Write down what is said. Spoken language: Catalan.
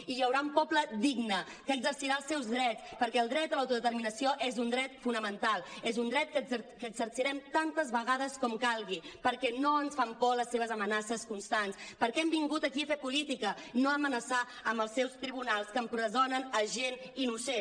i hi haurà un poble digne que exercirà els seus drets perquè el dret a l’autodeterminació és un dret fonamental és un dret que exercirem tantes vegades com calgui perquè no ens fan por les seves amenaces constants perquè hem vingut aquí a fer política no a amenaçar amb els seus tribunals que empresonen gent innocent